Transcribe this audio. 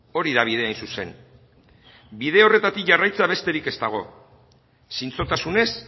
hori da bidea hain zuzen bide horretatik jarraitzea besterik ez dago zintzotasunez